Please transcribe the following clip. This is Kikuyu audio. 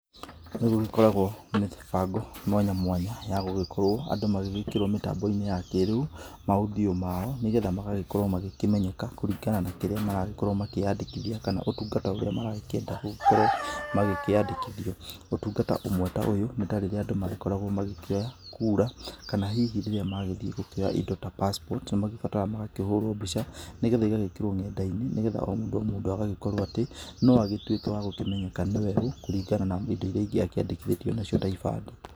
Nĩgũgĩkoragwo na mĩbango mwanya mwanya ya gũgĩkorwo andũ magĩgĩkĩrwo mĩbango-inĩ ya kĩrĩu, ma audio mao nĩgetha magagĩkorwo magĩkĩmenyeka kũringana na kĩrĩa maragĩkorwo makĩyandĩkithia kana ũtungata ũrĩa marakĩenda gũkorwo magĩkĩandĩkithio, ũtungata ũmwe ta ũyũ nĩ ta rĩrĩa andũ marakoragwo magĩkĩkĩoya kura kana hihi rĩrĩa marathiĩ kuoya indo ta Passport na magĩbataraga magagĩkĩrwo mbica, nĩgetha igagĩkĩrwo kũrĩa ng'enda-inĩ nĩgetha o mũndũ o mũndũ agagĩkorwo atĩ, no agĩtwĩke wa gũkĩmenyeka nĩwe ũ kũringana na indo iria ingĩ akĩandĩkithĩtio nacio ta ibandĩ.